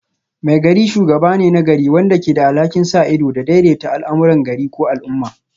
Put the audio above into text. Maigari shugaba ne na gari wanda ke da alhakin sa ido da daidaita al'amuran gari ko al'umma